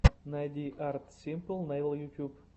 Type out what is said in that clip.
найди арт симпл нэйл ютуб